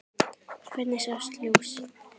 Hvergi sást ljós.